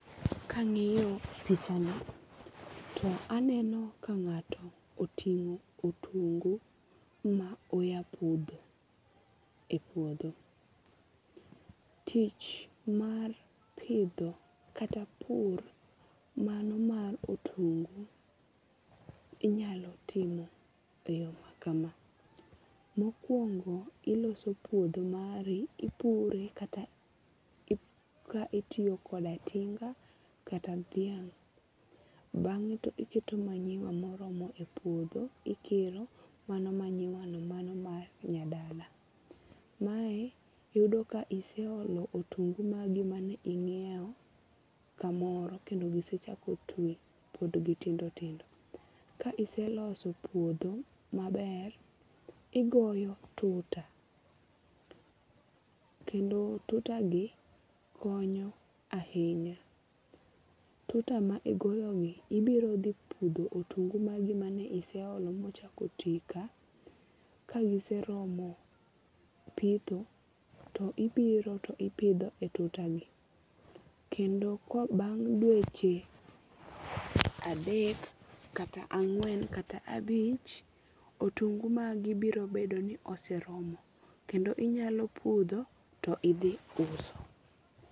Kang'iyo pichani to aneno ka ng'ato oting'o otungu ma oya pudho e puodho. Tich mar pidho kata pur mano mar otungu inyalo timo e yo ma kama. Mokwongo, iloso puodho mari, ipure kata itiyo koda tinga kata dhiang'. Bang'e to iketo manyiwa moromo e puodho ikelo mano manyiwano mano mar nyadala. Mae yudo ka iseolo otungu magi mane ing'iew kamoro kendo gisechako twi pod gitindo tindo. Ka iseloso puodho maber, igoyo tuta kendo tuta gi konyo ahinya. Tuta ma igoyogi ibiro dhi pudho otungu magi mane iseologi mochako twi ka, kagiseromo pitho to ibiro to ipidho e tuta gi. Kendo ka bang' dweche adek kata ang'wen kata abich otungo magi biro bedo ni oseromo kendo inyalo pudho to idhi uso.